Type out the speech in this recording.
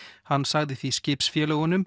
hann sagði því